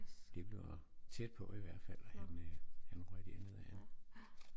Det blev tæt på i hvert fald han øh han røg derned ad